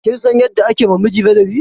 Kin san yadda ake ma miji ladabi?